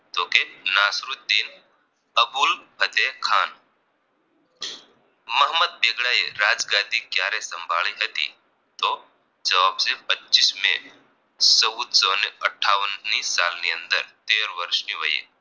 અબુલ ફઝેલ ખાન મહંમદ બેગડા એ રાજગાદી કયારે સંભાળી હતી તો જવાબ છે પચીસ મે ચૌદ સો અઠાવન ની સાલ ની અંદર તેર વર્ષ વયે